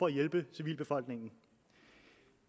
at hjælpe civilbefolkningen